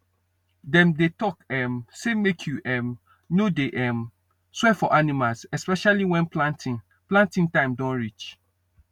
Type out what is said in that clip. dem dey talk um say make you um no dey um swear for animals especially when planting planting time don reach